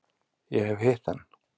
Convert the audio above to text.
Ég hef hitt hann.